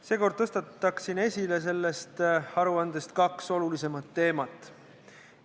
Seekord tõstaksin sellest aruandest esile kaks olulisemat teemat.